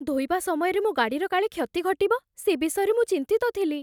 ଧୋଇବା ସମୟରେ ମୋ ଗାଡ଼ିର କାଳେ କ୍ଷତି ଘଟିବ, ସେ ବିଷୟରେ ମୁଁ ଚିନ୍ତିତ ଥିଲି।